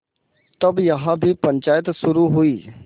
तब यहाँ भी पंचायत शुरू हुई